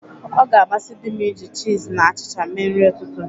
Ọ ga-amasi dị m iji chịz na achịcha mee nri ụtụtụ.